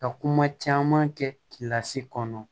Ka kuma caman kɛ kilasi kɔnɔ